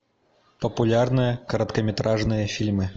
популярные короткометражные фильмы